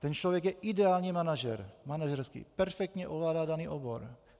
Ten člověk je ideální manažer, perfektně ovládá daný obor.